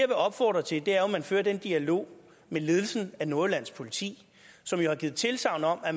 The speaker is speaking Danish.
vil opfordre til er jo at man fører den dialog med ledelsen af nordjyllands politi som har givet tilsagn om at